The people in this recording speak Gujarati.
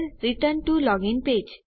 return T O login page